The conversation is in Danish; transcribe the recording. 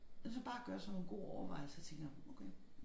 Hvis man bare gør sig nogle gode overvejelser tænker okay